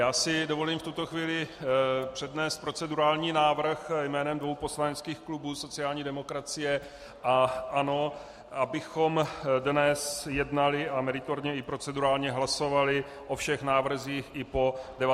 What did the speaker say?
Já si dovolím v tuto chvíli přednést procedurální návrh jménem dvou poslaneckých klubů - sociální demokracie a ANO -, abychom dnes jednali a meritorně i procedurálně hlasovali o všech návrzích i po 19. i po 21. hodině.